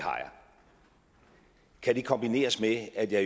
kan det kombineres med at jeg